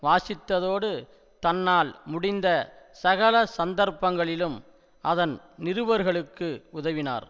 வாசித்ததோடு தன்னால் முடிந்த சகல சந்தர்ப்பங்களிலும் அதன் நிருபர்களுக்கு உதவினார்